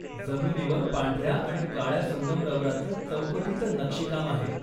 जमिनीवर पांढऱ्या आणि काळ्या संगमरवराचं चौकटीचं नक्षीकाम आहे.